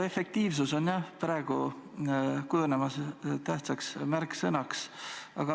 Efektiivsus on jah praegu kujunemas tähtsaks märksõnaks.